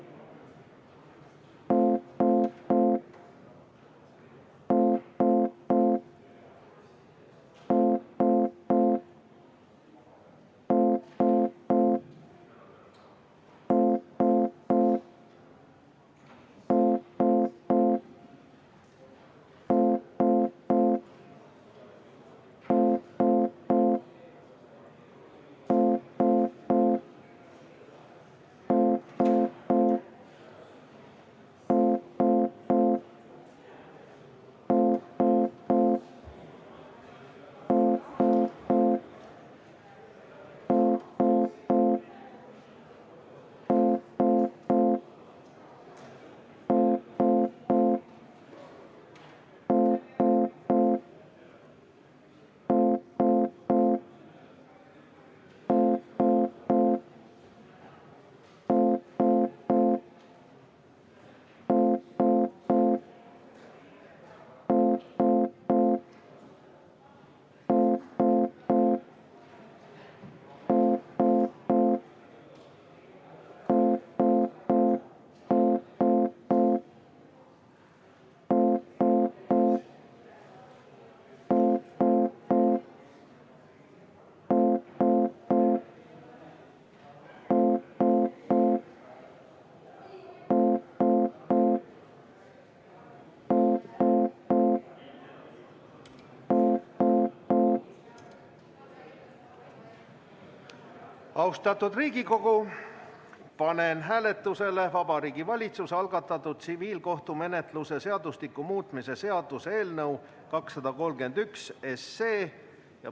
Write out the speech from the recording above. Austatud Riigikogu, panen hääletusele Vabariigi Valitsuse algatatud tsiviilkohtumenetluse seadustiku muutmise seaduse eelnõu 231.